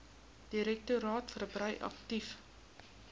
direktoraat verbrei aktief